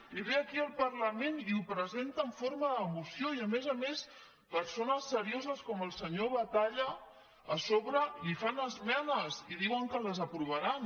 i ve aquí al parlament i ho presenta en forma de moció i a més a més persones serioses com el senyor batalla a sobre hi fan esmenes i diuen que les aprovaran